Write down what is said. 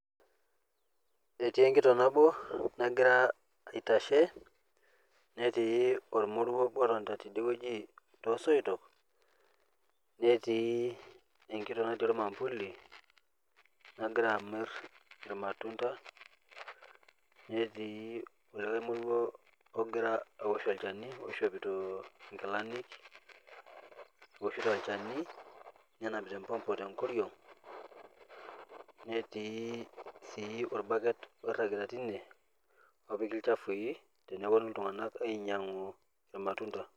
Ketii enkitook naboo nagiraa aitashee netii olmurua oboo lotii atoon tene wueji to soitook. Netii enkitook natii mafuuli nagira amiir lmatundaa. Netii olomouwo ogira aosh olchaani loishopito ng'ilaani aoshotu lchaani nenamipita epopoo te nkooriong'. Netii sii lbukeet loirang'aa tenie opikii lshafui tenepoo ltung'anak ainyang'uu lmatunda.